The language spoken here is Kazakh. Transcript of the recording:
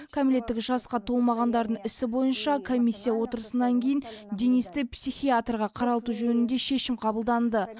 кәмелеттік жасқа толмағандардың ісі бойынша комиссия отырысынан кейін денисті психиатрға қаралту жөнінде шешім қабылданды